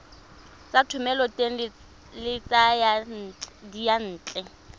tsa thomeloteng le tsa diyantle